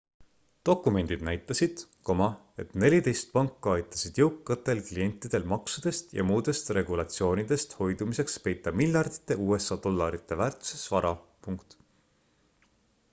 dokumendid näitasid et neliteist panka aitasid jõukatel klientidel maksudest ja muudest regulatsioonidest hoidumiseks peita miljardite usa dollarite väärtuses vara